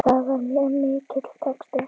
Það var mjög mikill texti.